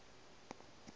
se be le boutu ya